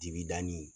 Digida nin